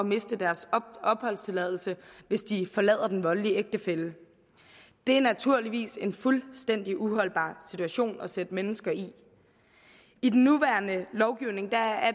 miste deres opholdstilladelse hvis de forlader den voldelige ægtefælle det er naturligvis en fuldstændig uholdbar situation at sætte mennesker i i den nuværende lovgivning er